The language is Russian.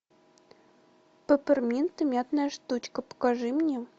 пепперминта мятная штучка покажи мне